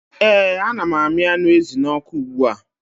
ee ana m na-amị anụ ezi n'ọkụ ugbua